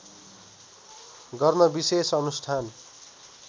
गर्न विशेष अनुष्ठान